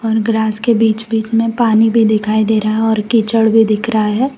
और ग्रास के बीच बीच में पानी भी दिखाई दे रहा है और कीचड़ भी दिख रहा है।